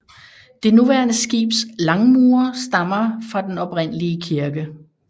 Det nuværende skibs langmure stammer fra den oprindelige kirke